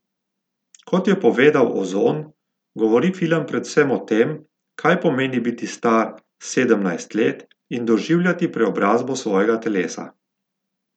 Kot je povedal Ozon, govori film predvsem o tem, kaj pomeni biti star sedemnajst let in doživljati preobrazbo svojega telesa.